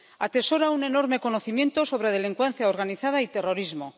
Atesora un enorme conocimiento sobre delincuencia organizada y terrorismo.